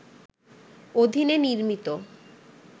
অধীনে নির্মিত